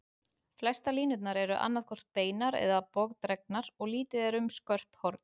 Flestar línurnar eru annað hvort beinar eða bogadregnar, og lítið er um skörp horn.